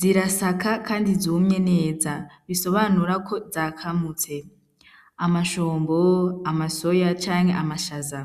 zirasaka, kandi zumye neza bisobanurako zakamutse amashombo amasoya canke amashaza.